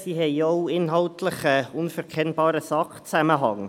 Sie haben auch inhaltlich gesehen einen unverkennbaren Sachzusammenhang.